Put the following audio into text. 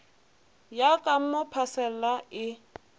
ya ka mo phasela e